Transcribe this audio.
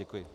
Děkuji.